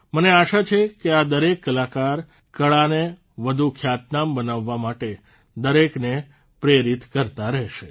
મને આશા છે કે આ દરેક કલાકાર કળાને વધુ ખ્યાતનામ બનાવવા માટે દરેકને પ્રેરિત કરતા રહેશે